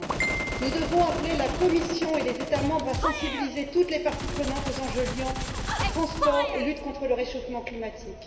21. Nous devons appeler la Commission et les États membres à sensibiliser toutes les parties prenantes aux enjeux qui lient les transports et la lutte contre le réchauffement climatique.